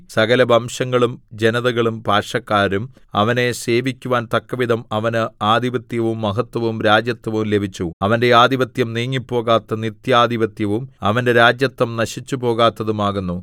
സകലവംശങ്ങളും ജനതകളും ഭാഷക്കാരും അവനെ സേവിക്കുവാൻ തക്കവിധം അവന് ആധിപത്യവും മഹത്വവും രാജത്വവും ലഭിച്ചു അവന്റെ ആധിപത്യം നീങ്ങിപ്പോകാത്ത നിത്യാധിപത്യവും അവന്റെ രാജത്വം നശിച്ചുപോകാത്തതും ആകുന്നു